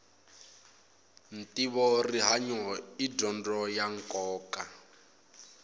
ntivo rihanyu i dyondzo ya nkoka